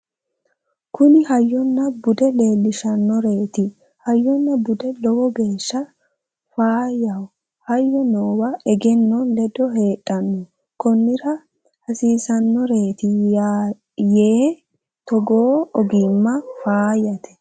kuni hayyonna bude leellishshannoreti hayyonna budu lowo geeshsha faayyaho hayyo noowa egenno ledo heedhanno konnira hasiisannoreeti yaae togoo ogimma faayyate